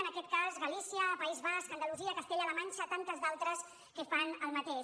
en aquest cas galícia país basc andalusia castella la manxa i tantes d’altres que fan el mateix